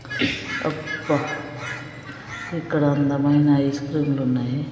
అ క్క ఇక్కడ అందమైన ఐస్ క్రీములు ఉన్నాయి.